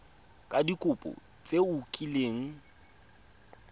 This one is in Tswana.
ka dikopo tse o kileng